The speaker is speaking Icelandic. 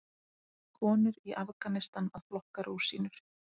Konur í Afganistan að flokka rúsínur.